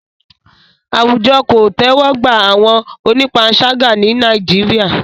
Àwùjọ kò tẹ́wọ́ gba àwọn onípanṣágà ní Nàìjíríà.